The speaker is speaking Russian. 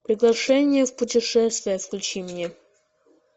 приглашение в путешествие включи мне